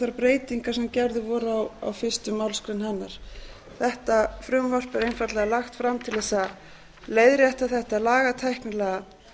þær breytingar sem gerðar voru á fyrstu málsgrein hennar þetta frumvarp er einfaldlega lagt fram til þess að leiðrétta þetta lagatæknilega